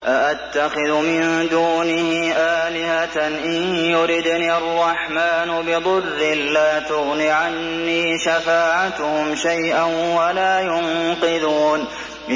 أَأَتَّخِذُ مِن دُونِهِ آلِهَةً إِن يُرِدْنِ الرَّحْمَٰنُ بِضُرٍّ لَّا تُغْنِ عَنِّي شَفَاعَتُهُمْ شَيْئًا وَلَا يُنقِذُونِ